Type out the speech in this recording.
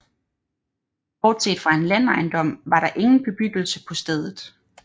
Bortset fra en landejendom var der ingen bebyggelse på stedet